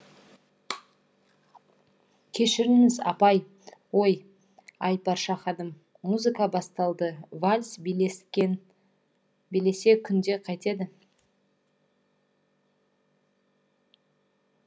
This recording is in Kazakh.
кешіріңіз апай ой айпарша ханым музыка басталды вальс билесек қайтеді